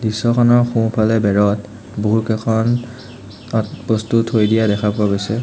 দৃশ্যখনৰ সোঁফালে বেৰত বহুকেইখন তাত বস্তু থৈ দিয়া দেখা পোৱা গৈছে।